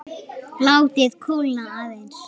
Látið kólna aðeins.